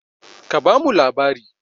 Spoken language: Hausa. Ka ba mu labari!